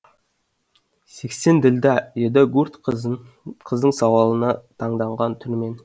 сексен ділда деді гурт қыздың сауалына таңданған түрмен